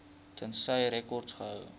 tensy rekords gehou